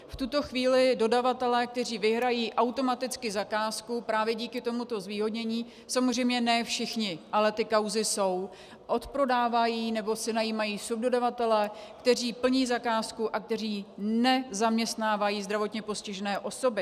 V tuto chvíli dodavatelé, kteří vyhrají automaticky zakázku právě díky tomuto zvýhodnění, samozřejmě ne všichni, ale ty kauzy jsou, odprodávají nebo si najímají subdodavatele, kteří plní zakázku a kteří nezaměstnávají zdravotně postižené osoby.